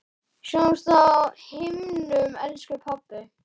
Sjáumst á himnum, elsku pabbi.